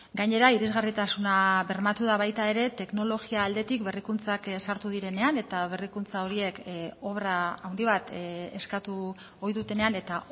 gainera irisgarritasuna bermatu da baita ere teknologia aldetik berrikuntzak sartu direnean eta berrikuntza horiek obra handi bat eskatu ohi dutenean eta